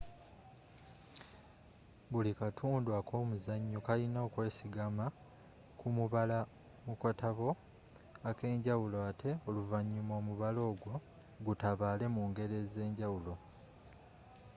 buli katundu ak'omuzanyo kalina okwesigama ku mubala mu katabo akenjawulo ate oluvanyuma omubala ogwo gutabaale mu ngero ez'enjawulo